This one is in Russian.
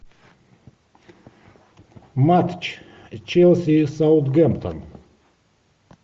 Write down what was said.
матч челси саутгемптон